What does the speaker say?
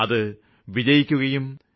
അത് വിജയിപ്പിക്കുകയും ചെയ്തു